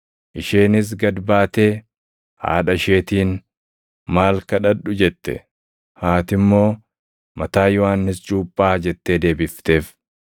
Isheenis gad baatee haadha isheetiin, “Maal kadhadhu?” jette. Haati immoo, “Mataa Yohannis Cuuphaa” jettee deebifteef.